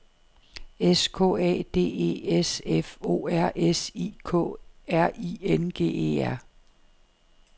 S K A D E S F O R S I K R I N G E R